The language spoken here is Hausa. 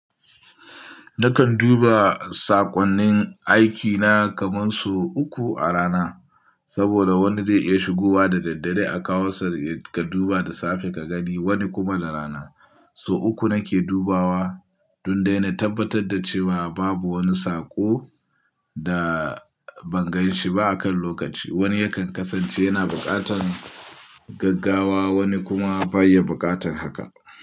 Nakan duba saƙonnin aikina kamar sau uku a rana. Saboda wani zai iya shigowa da daddare a kawosa ka duba da safe ka gani wani kuma da rana. So uku nake dubawa don dai na tabbatar da cewa babu wani saƙo da ban gan shi ba akan lokaci. Wani yakan kasance yana buƙatar gaggawa wani kuma baya buƙatar haka.